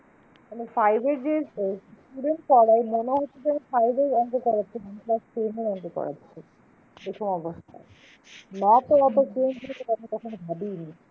আমি five এর যে student পড়াই মনে হচ্ছে না যে আমি five এর অঙ্ক করাচ্ছি যেন class ten এর অঙ্ক করাচ্ছি এরকম অবস্থা math এর এত change হয়েছে কথা কখনো ভাবিইনি।